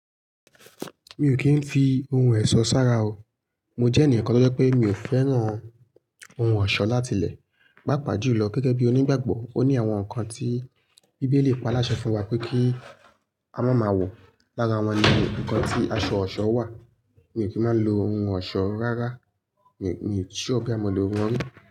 Mi ò kí ń fi ohun ẹ̀ṣọ́ sára o. Mo jẹ́ ènìkan tó jẹ pé mi ò fẹ́ràn ohun ọ̀ṣọ́ láti lẹ̀. Pà pà jù lọ gẹ́gẹ́ bí onígbàgbọ́, ó ní àwọn nǹkan tí bíbélì pa láṣẹ fún wa pé kí a má má wò. Lára wọn ni ǹkan tí aṣọ ọ̀ṣọ́ wà. Mi ò kí má lo ohun ọ̀ṣọ́ rárá. Miì sure bóyá mo lè wọnú.